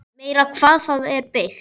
Meira hvað það er byggt!